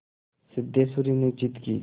सिद्धेश्वरी ने जिद की